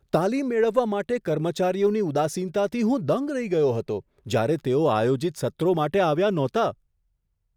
તાલીમ મેળવવા માટે કર્મચારીઓની ઉદાસીનતાથી હું દંગ રહી ગયો હતો જ્યારે તેઓ આયોજિત સત્રો માટે આવ્યા નહોતા.